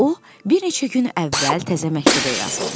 O, bir neçə gün əvvəl təzə məktəbə yazılmışdı.